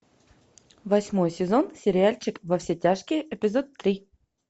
восьмой сезон сериальчик во все тяжкие эпизод три